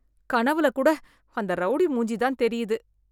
கனவுல கூட அந்த ரௌடி மூஞ்சி தான் தெரியுது.